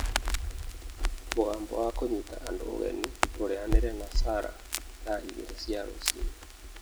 Mũgambo wa kũnyita andũ ũgeni ũrĩanĩre na Sarah thaa igĩrĩ cia rũcinĩ